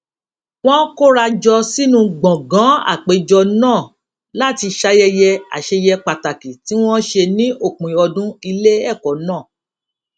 wón kóra jọ sínú gbòngàn àpéjọ náà láti ṣayẹyẹ àṣeyẹ pàtàkì tí wón ṣe ní òpin ọdún ilé èkó náà